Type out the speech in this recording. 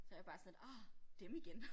Så jeg bare sådan lidt ah dem igen